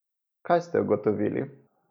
Kaj ste ugotovili?